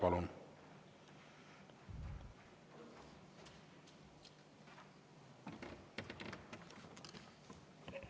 Palun!